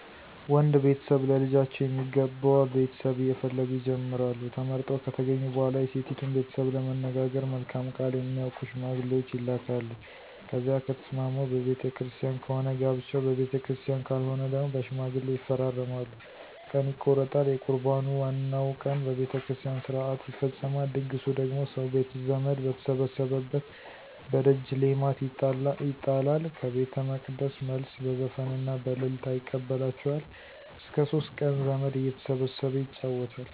ወንድ ቤተሰብ ለልጃቸው የሚገባ ቤተሰብ እየፈለጉ ይጀምራሉ። ተመርጠው ከተገኙ በኋላ የሴቲቱን ቤተሰብ ለመነጋገር መልካም ቃል የሚያውቁ ሸማግሌዎች ይላካሉ። ከዚያ ከተስማሙ በቤተ ክርስቲያን ከሆነ ጋብቻው በቤተክርስቲያን ካልሆነ ደግሞ በሽማግሌ ይፈራረማሉ። ቀን ይቆረጣል። የቁርባኑ ዋናው ቀን በቤተ ክርስቲያን ሥርዓት ይፈፀማል። ድግሱ ደግሞ ሰው ቤተዘመድ በተሰበሰበበት በደጅ ሌማት ይጣላል። ከቤተመቅደስ መልስ በዘፈንና በእልልታ ይቀበላቸዋል። እስከ ሶስት ቀን ዘመድ እየተሰበሰበ ይጫወታል።